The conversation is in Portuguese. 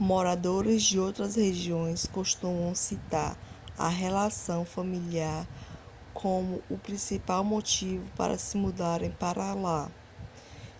moradores de outras regiões costumam citar a relação familiar como o principal motivo para se mudarem para lá